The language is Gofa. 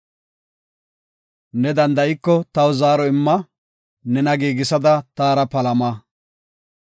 Ne danda7iko taw zaaro imma; nena giigisada taara palama.